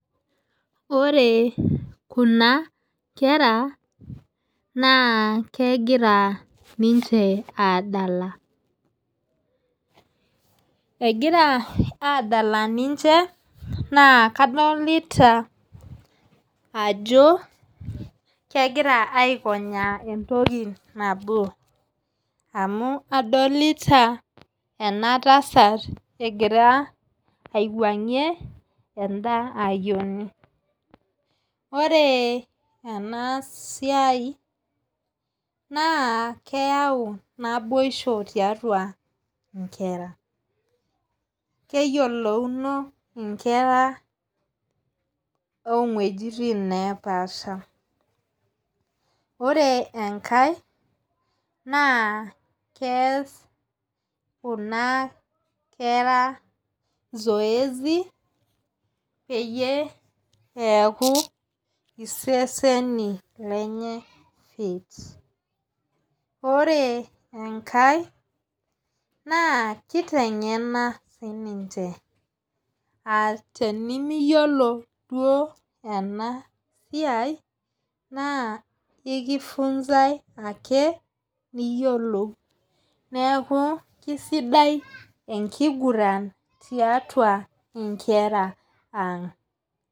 Ore Kuna kera naa kegira ninche aadala. egira adala ninche naa kadolita Ajo kegira aikonyaa entoki nabo. amu adolita ena tasat egira aiwangie eda ayioni. ore ena siai naa keyau naboisho tiatua nkera. keyiolouno nkera oo wuejitin nepaasha. ore enkae, naa kees Kuna kera zoezi peyie neeku iseseni lenye fit ore enkae, naa kiteng'ena sii ninche.aa tenimiyiolo duoo ena siai naa ekifunsae ake niyiolou. neeku kisidai enkiguran tiatua nkera ang.